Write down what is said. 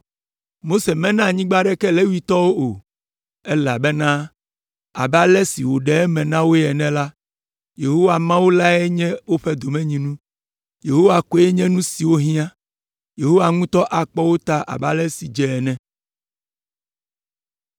Mose mena anyigba aɖeke Levitɔwo o, elabena abe ale si wòɖe eme na woe ene la, Yehowa Mawu lae nye woƒe domenyinu, Yehowa koe nye nu si wohiã. Yehowa ŋutɔ akpɔ wo ta abe ale si dze ene.